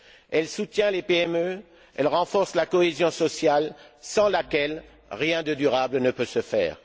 Elle soutient les PME, elle renforce la cohésion sociale, sans laquelle rien de durable ne peut se faire.